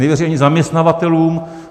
Nevěří ani zaměstnavatelům.